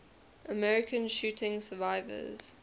american shooting survivors